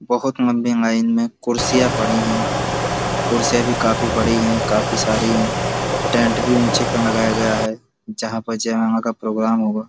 बहोत लम्बी लाइन में कुर्सियां पड़ी हैं। कुर्सियां भी काफी बड़ी हैं। काफी सारी है। टेंट भी ऊँचे पे लगाया गया है जहाँ पर जयमाला का प्रोग्राम होगा।